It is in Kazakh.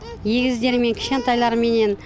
егіздермен кішкентайларыменен